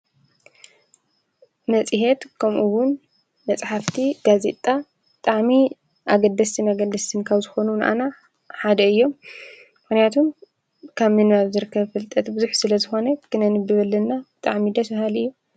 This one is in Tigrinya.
መጺሔት ከምኡውን መጽሕፍቲ ጋዚጣ ጣዕሚ ኣገደስ መገድስንካብ ዝኾኑ ንኣና ሓደ እዮም ምኮንያቱም ካብ ምንናያሩ ዘርከብ ፍልጠት ብዙኅ ስለ ዝኾነ ግነ ንብበልና ጣዕሚ ደስሃልእዮ።